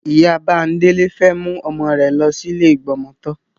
Ìyá Bándélé fẹ́ mú ọmọ rẹ̀ lọ sí ilé ìgbọmọtọ́.